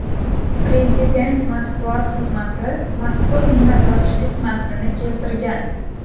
Prezident matbuot xizmati mazkur minnatdorchilik matnini keltirgan .